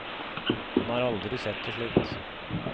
Han har aldri sett det slikt.